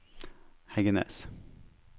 Heggenes